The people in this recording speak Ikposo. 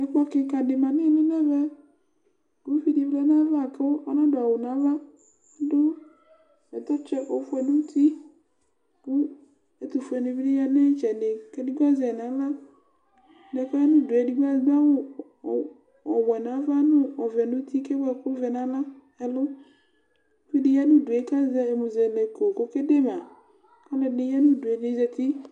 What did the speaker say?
Ɛkplɔ kikã ɖi mã nu ili nu ɛvɛ Ku uvidi wlɛ nu ayu ãvã, ku ɔna du awu nu ãvã Ãdu bɛtɛtsɔ ofue nu ũtí, ku ɛtufue ɖini bi ya nu itsɛdi Ku eɖigbo azɛ nu aɣla, eɖigbo aya nu uduyɛ, eɖigbo aɖu awu ó ɔwɛ nu ãvã, nu ɔvɛ nu ũtí, ku ewu ɛku wɛ nu ãvã, ɛlu Uvidi ya nu udue ka zɛ ɛmuzɛlɛko ku ɔke de mã Ɔluɛdini ya nu uduyɛ, ɛdini zãti